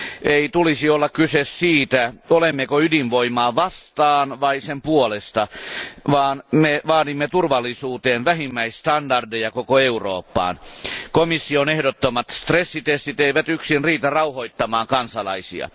Ei tulisi olla kyse siitä, olemmeko ydinvoimaa vastaan vai sen puolesta, vaan me vaadimme turvallisuutta koskevia vähimmäisstandardeja koko Eurooppaan. Komission ehdottamat stressitestit eivät yksin riitä rauhoittamaan kansalaisia.